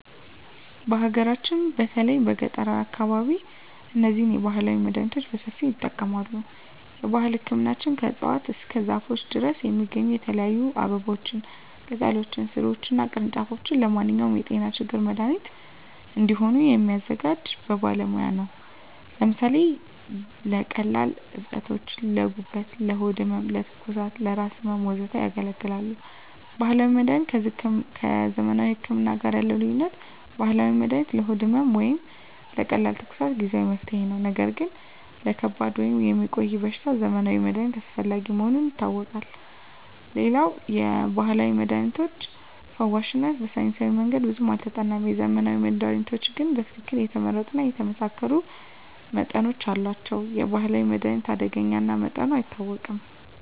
በሀገራችን በተለይም በገጠራዊ አካባቢዎች እነዚህን ባህላዊ መድሃኒቶች በሰፊው ይጠቀማሉ። የባህል ህክምናዎች ከእፅዋት እስከ ዛፎች ድረስ የሚገኙ የተለያዩ አበቦችን፣ ቅጠሎችን፣ ሥሮችን እና ቅርንጫፎች ለማንኛውም የጤና ችግር መድሃኒት እንዲሆኑ የሚያዘጋጁት በባለሙያ ነው። ለምሳሌ ለቀላል እብጠቶች: ለጉበት፣ ለሆድ ህመም፣ ለትኩሳት፣ ለራስ ህመም፣ ወዘተ ያገለግላሉ። ባህላዊ መድሀኒት ከዘመናዊ ህክምና ጋር ያለው ልዩነት፦ ባህላዊ መድሃኒት ለሆድ ህመም ወይም ለቀላል ትኩሳት ጊዜአዊ መፍትሄ ነው። ነገር ግን ለከባድ ወይም የሚቆይ በሽታ የዘመናዊ መድሃኒት አስፈላጊ መሆኑን አውቃለሁ። ሌላው የባህላዊ መድሃኒቶች ፈዋሽነታቸው በሳይንሳዊ መንገድ ብዙም አልተጠናም። የዘመናዊ መድሃኒቶች ግን በትክክል የተመረጡ እና የተመሳከሩ መጠኖች አሏቸው። የባህላዊ መድሃኒት አደገኛ እና መጠኑ አይታወቅም።